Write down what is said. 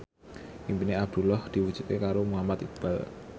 impine Abdullah diwujudke karo Muhammad Iqbal